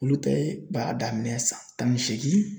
Olu ta ye b'a daminɛn san tan ni seegin.